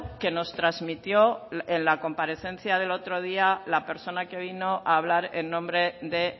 que nos transmitió la comparecencia del otro día la persona que vino a hablar en nombre de